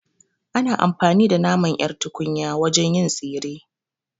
Ana amfani da naman ƴar tunkiya wajen yin tsire